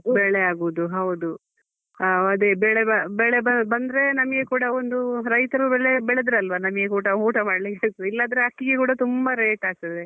ಬೆಳೆ ಆಗುದು ಹೌದು. ಆ ಅದೇ ಬೆಳೆ ಬ~ ಬೆಳೆ ಬಂದ್ರೆ ನಮ್ಗೆ ಕೂಡ ಒಂದು ರೈತರು ಬೆಳೆ ಬೆಳೆದ್ರೆ ಅಲ್ವಾ ನಮ್ಗೆ ಊಟ ಮಾಡ್ಲಿಕ್ಕೆ ಸಿಗ್ತದೆ ಇಲ್ಲದ್ರೆ ಅಕ್ಕಿಗೆ ಕೂಡ ತುಂಬಾ rate ಆಗ್ತದೆ.